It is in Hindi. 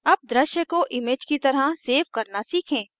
अब दृश्य को image की तरह सेव करना सीखें